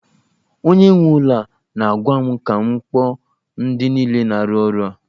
Onye nwe ụlọ na-agwa m ka m ga kpọọ ndi niile na-aru ọrụ a